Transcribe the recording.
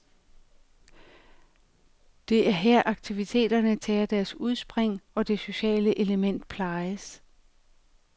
Det er her aktiviteterne tager deres udspring, og det sociale element plejes.